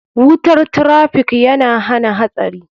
Wutar traffiikyana hana hatsari.